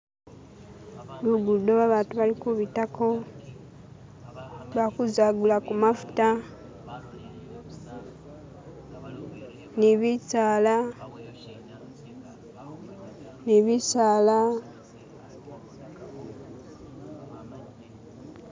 Lugudo babantu bali kubitako bakuza kugulaku mafuta ni bisaala ni bisaala